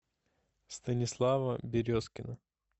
станислава березкина